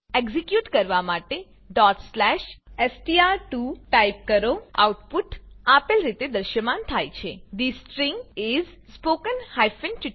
execute કરવા માટે str2 type કરો આઉટપુટ આપેલ રીતે દ્રશ્યમાન થાય છે the string is spoken tutorial